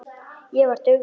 Ég var dugleg.